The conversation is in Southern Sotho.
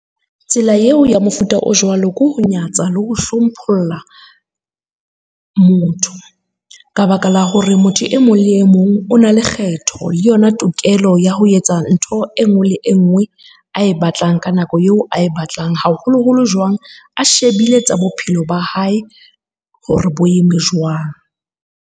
Tsela eo ya mofuta o jwalo ke ho nyatsa le ho hlompholla motho. Ka baka la hore motho e mong le e mong o na le kgetho le yona tokelo ya ho etsa ntho e nngwe le e nngwe a e batlang ka nako eo ae batlang, haholoholo jwang a shebile tsa bophelo ba hae hore bo eme jwang.